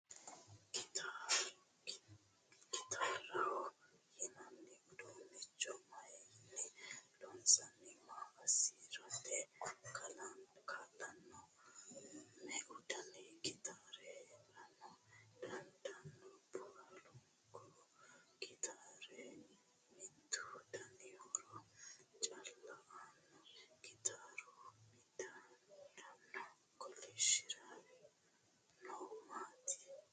Gitaaraho yinanni udunnicho maayinni loonsanni? Maa assirate kaa'lanno? Meu dani gitaari heerara dandaanno? Baalunku gitaari mittu dani horo calla aanno? Gitaaru midaadoonni kolishshire noohu maati?